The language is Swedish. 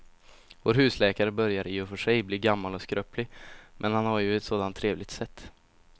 Vår husläkare börjar i och för sig bli gammal och skröplig, men han har ju ett sådant trevligt sätt!